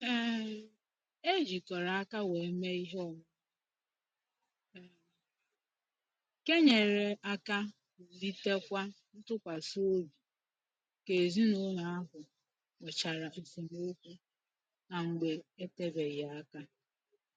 um E jikọrọ aka wee mee ihe omume um nke nyere aka wulitekwa ntụkwasị obi ka ezinụlọ ahụ nwechara esemokwu na mgbe etebeghị aka